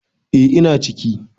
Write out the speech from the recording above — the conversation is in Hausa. E, ina ciki